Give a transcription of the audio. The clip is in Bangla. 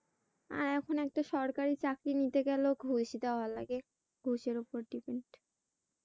আর এখন একটা সরকারি চাকরি নিতে গেছেও ঘুষ দেয়া লাগে। ঘুষের উপর depend